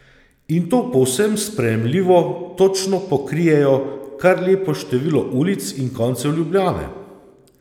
In to povsem sprejemljivo, točno, pokrijejo kar lepo število ulic in koncev Ljubljane.